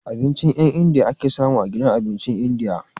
Abincin India ake samu a gidan abincin yan india